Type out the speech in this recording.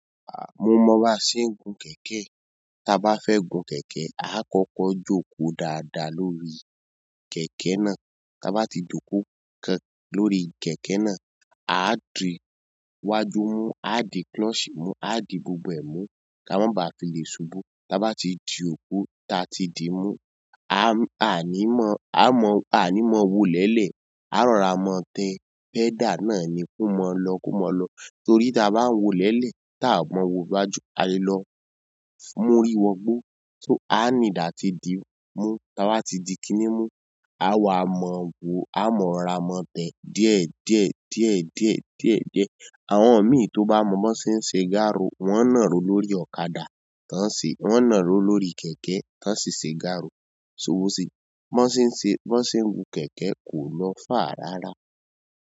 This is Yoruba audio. À mo mọ bá ṣe ń gun kẹ̀kẹ́. Ta a bá fẹ́ gun kẹ̀kẹ́, a o kọ́kọ́ jókòó dáadáa lórí kẹ̀kẹ́ náà. Ta a bá ti jókòó tán lórí kẹ̀kẹ́ náà, a á dì wájú mú, a á dì clutchi mú, a á dì gbogbo ẹ̀ mú kí a má ba à fi lè ṣubú. Tá a bá ti di òkú tí a ti di mú, a á ní mọ́, a á mọ̀, a á ní mọ́ wo lẹ́lẹ̀, á rọra mọ́tẹ́. Pedal náà ni kó mọ lọ, kó mọ lọ. Torí tí a bá ń wo lẹ́lẹ̀ tí a ò mọ wo wájú, a lè lọ múrí wọ gbó. Tó a need àti di mú, tí a bá ti di kiní mú, a wàá mọ̀ wo, a mọ̀ ránra mọ́tẹ́ díẹ̀, díẹ̀, díẹ̀, díẹ̀, díẹ̀, díẹ̀. Àwọn mi tó bá mọ̀ bó ṣe ń ṣe gáárù, wọ́n ń nàró lórí ọ̀kadà tán ṣe, wọ́n ń nàró lórí kẹ̀kẹ́ tán ṣe ń ṣe gáárù. So bó ṣe? Bó ṣe ń ṣe, bó ṣe ń gun kẹ̀kẹ́ kò lọ fà rárá.